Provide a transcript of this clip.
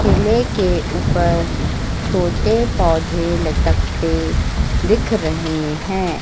केले के ऊपर छोटे पौधे लटकते दिख रहे हैं।